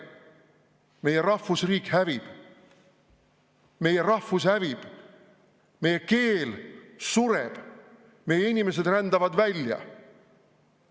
Meie rahvusriik hävib, meie rahvus hävib, meie keel sureb, meie inimesed rändavad välja.